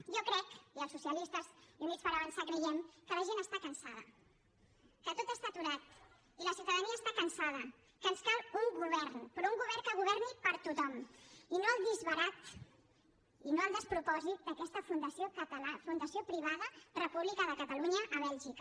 jo crec i els socialistes i units per avançar creiem que la gent està cansada que tot està aturat i la ciutadania està cansada que ens cal un govern però un govern que governi per a tothom i no el disbarat i no el despropòsit d’aquesta fundació privada república de catalunya a bèlgica